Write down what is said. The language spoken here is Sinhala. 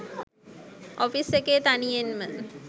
ඔපිස් එකේ තනියෙන් ම